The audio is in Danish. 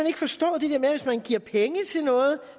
ikke forstået det der med at hvis man giver penge til noget